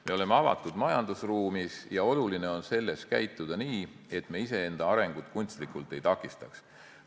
Me oleme avatud majandusruumis ja oluline on selles käituda nii, et me iseenda arengut kunstlikult ei takistaks.